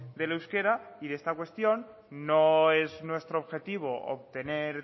del euskera y de esta cuestión no es nuestro objetivo obtener